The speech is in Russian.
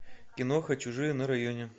киноха чужие на районе